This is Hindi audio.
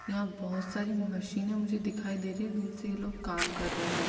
यहाँ बहोत सारी मशीने मुझे दिखाई दे रही हैं जिनसे ये लोग काम कर रहे हैं।